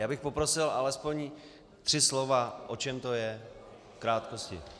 Já bych poprosil alespoň tři slova, o čem to je, v krátkosti.